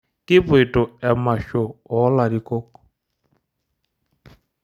Kipoito emasho oolarikok.